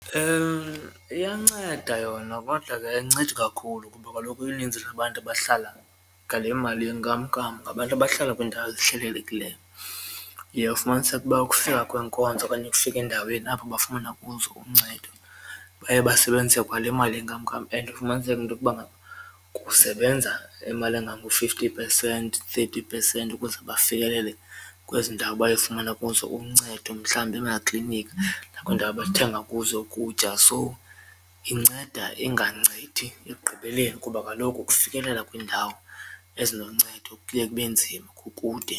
Iyanceda yona kodwa ke ayincedi kakhulu kuba kaloku uninzi lwabantu abahlala ngale mali yenkamnkam ngabantu abahlala kwiindawo ezihlelelekileyo. Uye ufumaniseke uba ukufika kweenkonzo okanye ukufika endaweni apho bafumana kuzo uncedo baye basebenzise kwale mali yenkamnkam and ufumaniseke intokuba ngaba kusebenza imali engango-fifty percent, thirty percent ukuze bafikelele kwezi ndawo bayofumana kuzo uncedo mhlawumbi emakliniki nakwiindawo abathenga kuzo ukutya. So inceda ingancedi ekugqibeleni kuba kaloku ukufikelela kwiindawo ezinoncedo kuye kube nzima kukude.